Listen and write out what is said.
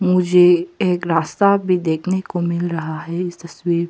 मुझे एक रास्ता भी देखने को मिल रहा है इस तस्वीर--